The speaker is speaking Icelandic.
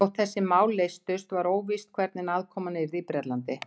Þótt þessi mál leystust, var óvíst, hvernig aðkoman yrði í Bretlandi.